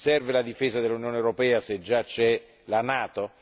Serve la difesa dell'Unione europea se già c'è la NATO?